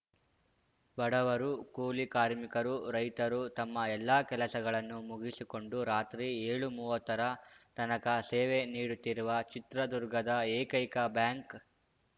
ಬಡವರು ಕೂಲಿ ಕಾರ್ಮಿಕರು ರೈತರು ತಮ್ಮ ಎಲ್ಲಾ ಕೆಲಸಗಳನ್ನು ಮುಗಿಸಿಕೊಂಡು ರಾತ್ರಿ ಏಳುಮುವತ್ತರ ತನಕ ಸೇವೆ ನೀಡುತ್ತಿರುವ ಚಿತ್ರದುರ್ಗದ ಏಕೈಕ ಬ್ಯಾಂಕ್‌